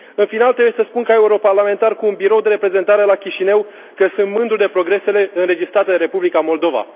În final, trebuie să spun ca europarlamentar cu un birou de reprezentare la Chișinău, că sunt mândru de progresele înregistrate în Republica Moldova.